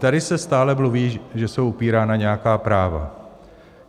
Tady se stále mluví, že jsou upírána nějaká práva.